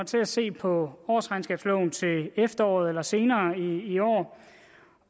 til at se på årsregnskabsloven til efteråret eller senere i år